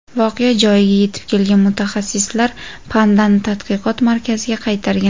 Voqea joyiga yetib kelgan mutaxassislar pandani tadqiqot markaziga qaytargan.